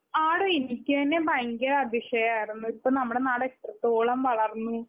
ആടോ എനിക്ക് തന്നെ ഭയങ്കര അതിശയം ആയിരുന്നു. ഇപ്പൊ നമ്മുടെ നാട് എത്രത്തോളം വളർന്നു.